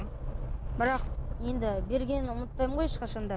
бірақ енді бергенін ұмытпаймын ғой ешқашан да